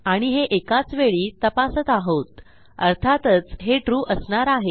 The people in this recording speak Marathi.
आणि हे एकाच वेळी तपासत आहोत अर्थातच हे ट्रू असणार आहे